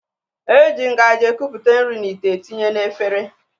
E ji ngaji ekupụta nri n'ite etinye na efere